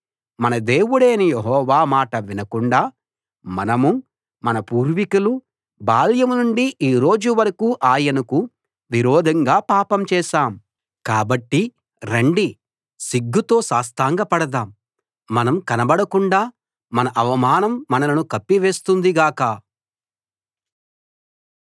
మన దేవుడైన యెహోవా మాట వినకుండా మనమూ మన పూర్వికులూ బాల్యం నుండి ఈ రోజు వరకూ ఆయనకు విరోధంగా పాపం చేశాం కాబట్టి రండి సిగ్గుతో సాష్టాంగపడదాం మనం కనబడకుండా మన అవమానం మనలను కప్పివేస్తుంది గాక